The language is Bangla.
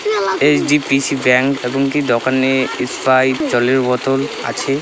H. D. P. C bank এবং একটি দোকানে সপ্যাইট জলের বোতল আছে ।